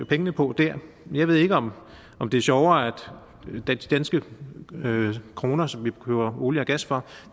pengene på dér jeg ved ikke om om det er sjovere at danske kroner som vi køber olie og gas for